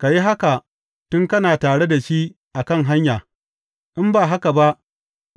Ka yi haka, tun kana tare da shi a kan hanya, in ba haka ba,